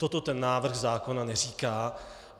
Toto ten návrh zákona neříká.